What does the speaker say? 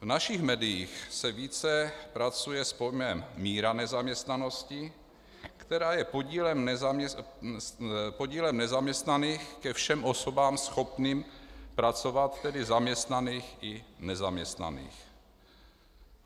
V našich médiích se více pracuje s pojmem míra nezaměstnanosti, která je podílem nezaměstnaných ke všem osobám schopným pracovat, tedy zaměstnaných i nezaměstnaných.